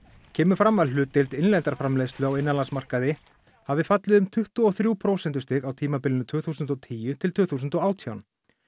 kemur fram að hlutdeild innlendrar framleiðslu á innanlandsmarkaði hafi fallið um tuttugu og þrjú prósentustig á tímabilinu tvö þúsund og tíu til tvö þúsund og átján